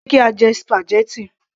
Ṣe kí á jẹ spaghetti